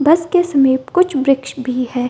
बस के समीप कुछ वृक्ष भी है।